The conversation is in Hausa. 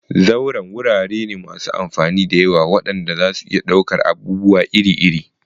Zauren wurare ne masu amfani da yawa waɗanda zasu iya ɗaukar abubuwa iri-iri.